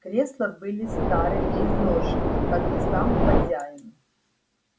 кресла были стары и изношены как и сам хозяин